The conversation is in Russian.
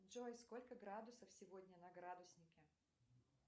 джой сколько градусов сегодня на градуснике